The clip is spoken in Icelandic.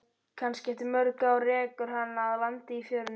Kannski eftir mörg ár rekur hana að landi í fjörunni.